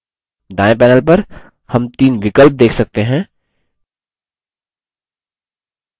दायें panel पर हम तीन विकल्प देख सकते हैं